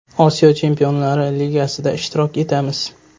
Osiyo Chempionlar Ligasida ishtirok etamiz.